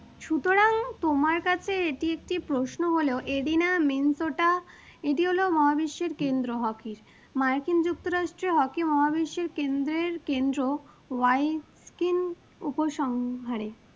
তোমার কাছে এটি একটি প্রশ্ন হলেও এডিনা মেনসোটা এটি হল মহাবিশ্বের কেন্দ্র hockey র, মার্কিন যুক্তরাষ্ট্রর hockey মহাবিশ্বের কেন্দ্রের কেন্দ্র ওয়াই স্কিন উপসংহারে।